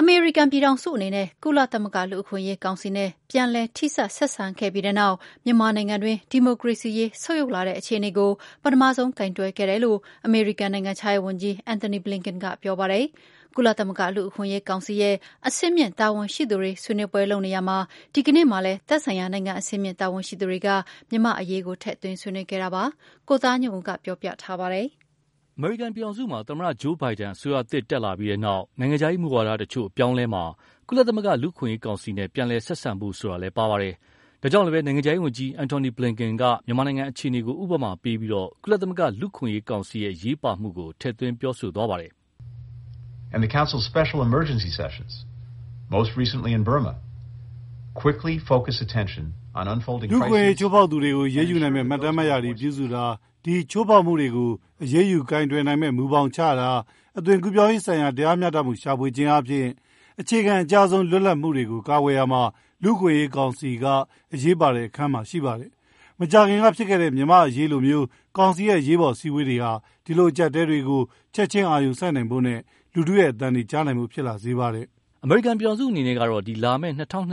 အမေရိကန်ပြည်ထောင်စုအနေနဲ့ ကုလသမဂ္ဂ လူ့အခွင့်အရေးကောင်စီနဲ့ ပြန်လည်ထိစပ်ဆက်ဆံခဲ့ပြီးနောက် မြန်မာနိုင်ငံတွင်း ဒီမိုကရေစီအခြေအနေ ဆုတ်ယုတ်လာတဲ့အခြေအနေကို ပထမဆုံးကိုင်တွယ်ခဲ့တယ်လို့ အမေရိကန်နိုင်ငံခြားရေးဝန်ကြီး Anthony Blinken က ပြောပါတယ်။ ကုလသမဂ္ဂလူ့အခွင့်အရေးကောင်စီရဲ့ အဆင့်မြင့်တာဝန်ရှိသူတွေဆွေးနွေးပွဲလုပ်နေရာမှာ ဒီနေ့မှာလည်း သက်ဆိုင်ရာနိုင်ငံအဆင့်မြင့်တာဝန်ရှိသူတွေက မြန်မာ့အရေးက ထည့်သွင်းဆွေးနွေးခဲ့တာပါ။ ကိုသားညွန့်ဦး ပြောပြပါလိမ့်မယ်။ အမေရိကန်ပြည်ထောင်စုမှာ သမ္မတ Joe Biden အစိုးရသစ်တက်လာပြီး နိုင်ငံခြားရေးမူဝါဒ တချို့အပြောင်းအလဲမှာ၊ ကုလသမဂ္ဂ လူ့အခွင့်အရေးကောင်စီနဲ့ ပြန်လည်ဆက်ဆံဖို့ဆိုတာလည်း ပါဝင်ပါတယ်။ ဒါကြောင့်လည်း နိုင်ငံခြားရေးဝန်ကြီး Anthony Blinken က မြန်မာနိုင်ငံအခြေအနေကို ဥပမာပြပြီး ကုလသမဂ္ဂလူ့အခွင့်အရေးကောင်စီရဲ့ အရေးပါမှုကို ထည့်သွင်းပြောဆိုသွားပါတယ်။ “လူ့အခွင့်အရေး ချိုးဖောက်သူတွေကို အရေးယူနိုင်မယ့် မှတ်တမ်းမှတ်ရာတွေပြုစုတာ၊ ဒီချိုးဖောက်မှုတွေကို အရေးယူကိုင်တွယ်နိုင်မယ့်မူဘောင်ချတာ၊ အသွင်ကူးပြောင်းရေးဆိုင်ရာ တရားမျှတမှု ရှာဖွေခြင်းအားဖြင့် အခြေခံအကျဆုံး လွတ်လပ်မှုတွေကို ကာကွယ်ရာမှာ လူ့အခွင့်အရေးကောင်စီက အရေးပါတဲ့အခန်းမှာ ရှိပါတယ်။ မကြာခင်ကဖြစ်ခဲ့တဲ့မြန်မာ့အရေးလိုမျိုး ကောင်စီရဲ့ အရေးပေါ်အစည်းအဝေးတွေဟာ ဒီလိုအကြပ်အတည်းတွေကို ချက်ချင်းအာရုံစိုက်နိုင်ဖို့နဲ့ လူထုရဲ့အသံတွေ ကြားနိုင်ဖို့ ဖြစ်လာစေပါတယ်။” အမေရိကန်ပြည်ထောင်စုအနေနဲ့ကတော့ လာမယ့် ၂၀၂၂-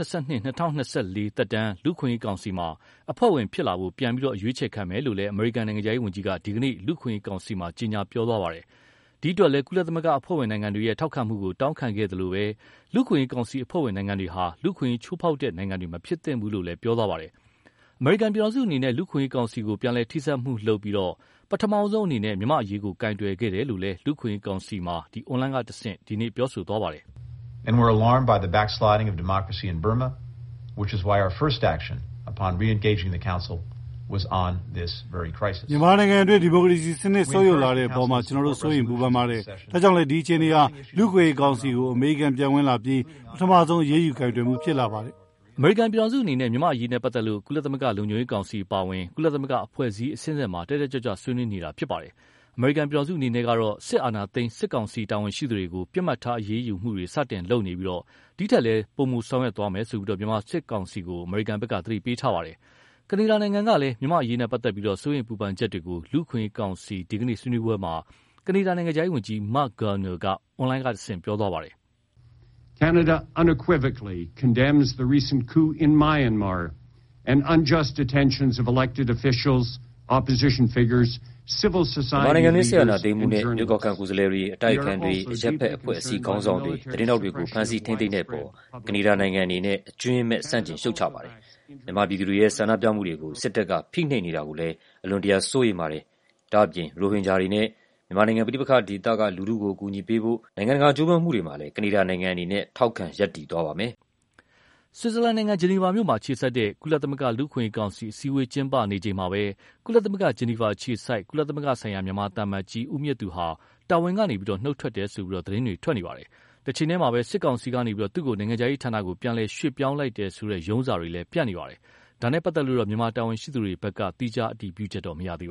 ၂၀၂၄ သက်တမ်း လူ့အခွင့်အရေးကောင်စီမှာ အဖွဲ့ဝင်ဖြစ်လာဖို့ ပြန်အရွေးချယ်ခံမယ်လို့လည်း အမေရိကန်နိုင်ငံခြားရေးဝန်ကြီးက ဒီကနေ့ လူ့အခွင့်အရေးကောင်စီမှာ ကြေညာပြောဆိုခဲ့ပါတယ်။ ဒီအတွက်လည်း ကုလသမဂ္ဂအဖွဲ့ဝင်နိုင်ငံတွေရဲ့ ထောက်ခံမှုကို တောင်းခံခဲ့သလို၊ လူ့အခွင့်အရေးကောင်စီအဖွဲ့ဝင်နိုင်ငံတွေဟာ လူ့အခွင့်အရေး ချိုးဖောက်တဲ့နိုင်ငံတွေ မဖြစ်သင့်ဘူးလို့လည်း ပြောသွားပါတယ်။ အမေရိကန်ပြည်ထောင်စုအနေနဲ့ လူ့အခွင့်အရေးကောင်စီကို ပြန်လည်ထိစပ်မှုလုပ်ပြီး၊ ပထမဆုံးအနေနဲ့ မြန်မာ့အရေးကို ကိုင်တွယ်ခဲ့တယ်လို့လည်း လူ့အခွင့်အရေးကောင်စီမှာ အွန်လိုင်းကတဆင့် ပြောဆိုသွားပါတယ်။ “မြန်မာနိုင်ငံတွင်း ဒီမိုကရေစီစနစ် ဆုတ်ယုတ်လာတဲ့အပေါ်မှာ ကျနော်တို့စိုးရိမ်ပူပင်ပါတယ်။ ဒါကြောင့်လည်း ဒီအခြေအနေဟာ လူ့အခွင့်အရေးကောင်စီကို အမေရိကန်ပြန်ဝင်လာပြီနောက် ပထမဆုံး အရေးယူကိုင်တွယ်မှုဖြစ်လာပါတယ်။” အမေရိကန်ပြည်ထောင်စုအနေနဲ့ မြန်မာ့အရေးနဲ့ပတ်သက်လို့ ကုလသမဂ္ဂ လုံခြုံရေးကောင်စီအပါအဝင် ကုလသမဂ္ဂအဖွဲ့အစည်းအဆင့်ဆင့်မှာ တတ်တတ်ကြွကြွ ဆွေးနွေးနေတာဖြစ်ပါတယ်။ အမေရိကန်ပြည်ထောင်စုအနေနဲ့ကတော့ စစ်အာဏာသိမ်း စစ်ကောင်စီတာဝန်ရှိသူတွေကို ပစ်မှတ်ထားအရေးယူမှုတွေ စတင်လုပ်နေပြီး၊ ဒီထက်လည်း ပိုမိုဆောင်ရွက်မယ်လို့ မြန်မာစစ်ကောင်စီကို သတိပေးထားပါတယ်။ ကနေဒါနိုင်ငံကလည်း မြန်မာ့အရေးနဲ့ ပတ်သက်လို့ စိုးရိမ်ပူပင်ချက်တွေကို လူ့အခွင့်အရေးကောင်စီ ဒီကနေ့ ဆွေးနွေးပွဲမှာ ကနေဒါနိုင်ငံခြားရေးဝန်ကြီး Marc Garneau က အွန်လိုင်းကတဆင့် ပြောသွားပါတယ်။ “မြန်မာနိုင်ငံတွင်း စစ်အာဏာသိမ်းမှုနဲ့ ရွေးကောက်ခံ ကိုယ်စားလှယ်တွေ အတိုက်အခံတွေ အရပ်ဘက်အဖွဲ့အစည်းခေါင်းဆောင်တွေ သတင်းထောက်တွေကို ဖမ်ဆီး ထိန်းသိမ်းတဲ့အပေါ် ကနေဒါနိုင်ငံအနေနဲ့ အကြွင်းမဲ့ဆန့်ကျင်ရှုတ်ချပါတယ်။ မြန်မာပြည်သူတွေရဲ့ဆန္ဒပြမှုတွေကို စစ်တပ်က ဖိနှိပ်နေတာတွေကိုလည်း အလွန်တရာစိုးရိမ်ပါတယ်။ ဒါ့အပြင် ရိုဟင်ဂျာတွေနဲ့ မြန်မာနိုင်ငံ ပဋိပက္ခဒေသက လူထုတွေကို အကူအညီပေးဖို့ နိုင်ငံတကာကြိုးပမ်းမှုတွေမှာလည်း ကနေဒါနိုင်ငံအနေနဲ့ ထောက်ခံရပ်တည်သွားပါမယ်။” ဆွီဇာလန်နိုင်ငံ ဂျနီဗာမြို့မှာအခြေစိုက်တဲ့ ကုလသမဂ္ဂ လူ့အခွင့်အရေးကောင်စီ အစည်းအဝေးကျင်းပနေချိန်မှာပဲ ကုလသမဂ္ဂ ဂျနီဗာအခြေစိုက် ကုလသမဂ္ဂဆိုင်ရာ မြန်မာသံအမတ်ကြီး ဦးမြင့်သူဟာ တာဝန်ကနေ နုတ်ထွက်တယ်လို့ သတင်းတွေ ထွက်နေပါတယ်။ တချိန်တည်းမှာ စစ်ကောင်စီကနေ သူ့ကို နိုင်ငံခြားရေးဌာနကို ပြန်လည်ရွှေ့ပြောင်းလိုက်တယ်ဆိုတဲ့ ရုံးစာတွေလည်း ပြန့်နေပါတယ်။ ဒါနဲ့ပတ်သက်လို့တော့ မြန်မာတာဝန်ရှိသူတွေဘက်က သီးခြားအတည်ပြုချက်တော့မရသေးပါ